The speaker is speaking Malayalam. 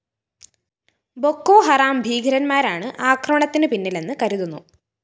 ബൊക്കോ ഹറാം ഭീകരന്മാരാണ് ആക്രമണത്തിന് പിന്നിലെന്ന് കരുതുന്നു